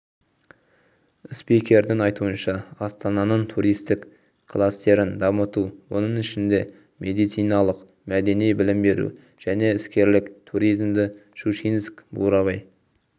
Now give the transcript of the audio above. спикердің айтуынша астананың туристік кластерін дамыту оның ішінде медициналық мәдени білім беру және іскерлік туризмді щучинск-бурабай